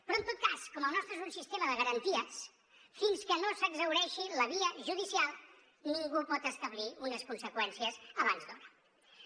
però en tot cas com el nostre és un sistema de garanties fins que no s’exhaureixi la via judicial ningú pot establir unes conseqüències abans d’hora